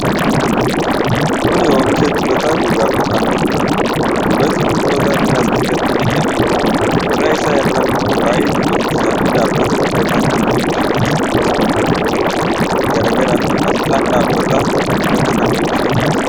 Kuni oomisha dibata gogaaf kan ooludha. Dibati kun Qoodaa pilaastikaatti naqamee jira. Qodaa isaa irra ammoo waa'ee dibatichaa fi dhaabbata dibata kana oomishee kan himan barreefamooti garaagaraa fi asxaan dhaabbata dibata kana oomishee ni argama.